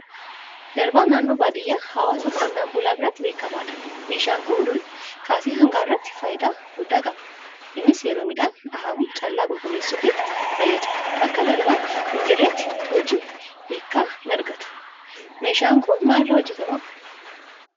Darbaan naannoo baadiyyaa hawaasa qonnaan-bulaa biratti beekamaadha. Meeshaan kun durii kaasee hanga har'aatti faayidaa guddaa qaba. Innis yeroo midhaan dhahamu callaa qulqulleessuuf fayyada. Bakka Darbaan hinjirretti hojiin hiiqa hinargatu. Meeshaan kun maal irraa hojjetama?